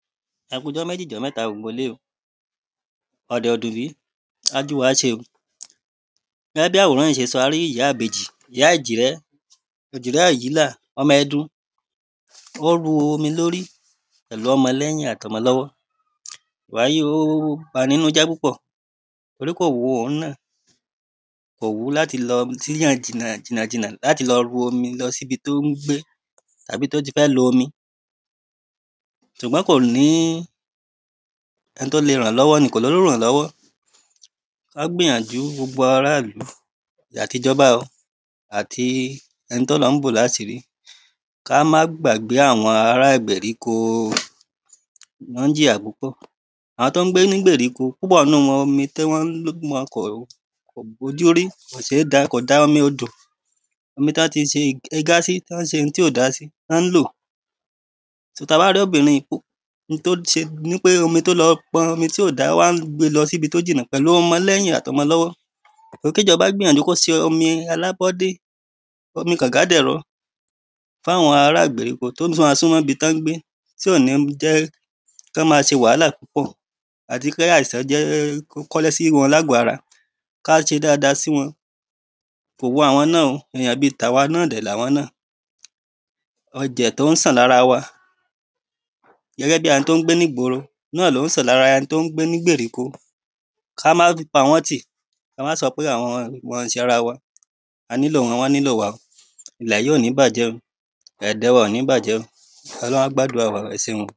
Ẹ̄ kú jọ́méjì jọ́mẹ́tā gbōgbō īlé ō ọ̀dọ̀ dù bí á dú wa se o. Gẹ́gẹ́ bí àwòrán yìí ṣe sọ̄ a rí ìyá ìbējì ìyá èjìrẹ́ èjìrẹ́ àjílà ọ̄mọ̄ ẹ̄dun ó ru omi lórí pẹ̀lú ọ̄mọ̄ lẹ́yin àti ọ̄mọ̄ lọ́wọ́. Wàyí o ó bani nínú jẹ́ púpọ̀ torí kò wu òhun náà kò wú láti lọ̄ sí yàn jìnà jìnà láti ru omi lọ̄ síbi tó ń gbé àbí tó ti fẹ́ lo omi. Ṣùgbọ́n kò ní ẹ̄ni tó le rán lọ́wọ́ ni kò lólùrànlọ́wọ́ ó gbìyàjú gbogbo ará ìlú àti jọ̄ba o àti ẹ̄ni tó Ọlọ́run bò láṣìrí ká má gbàgbé àwọ̄n ará ìgbèríko wọ́n ń jìyà púpọ̀. Àwọ̄n tán ń gbé nígbèríko púpọ̀ nínú ōmī tán ń kó bójúrí kó sé dá kò da omi odò omi tán ti se ẹ̄gá sí tán se ohun tí ó da sí ná ń lò. So tā bá róbìnrin n tó se nipé ó lọ̄ pọ̄n omi tí ó dā ó wá ń gbé lọ̄ sí ibi tó jìnà pẹ̀lú ọ̄mọ̄ lẹ́yìn àti ọ̄mọ̄ lọ́wọ́. Kíjọ̄ba kó gbìyànjú kó se omi alábọ́dé omi kànga dẹ̀rọ̄ fún àwọ̄n ará ìgbèríko tí ó má súnmọ́ ibi tí wọ́n ń gbé tí ò ní jẹ́ kán má ṣe wàhálà púpọ̀ àti kí àìsàn jẹ́ kó kọ́lẹ́ sí wọ̄n lágọ̀ ārā ká ṣe dáada sí wọ̄n. Kò wu àwọ̄n náà o èyàn bí tàwa náà dẹ̀ ni awọ́n náà ọ̄jẹ̀ tó ń sàn lára wa gẹ́gẹ́ bí ẹ̄ni tó ń gbé nígboro náà ló ń sàn lára ẹ̄ni tó ń gbé nígbèríko ká má pa wọ́n tì ká má so pé àwọ́n wọ́n ò í ṣe ara wa a nílò wọ́n awọ́n na nílò wa īlẹ̀ yìí ò ní bàjẹ́ o dáada wa ò ní bàjẹ́ o ọ̄lóhun á gbádúà wa o ẹ̄ṣeun.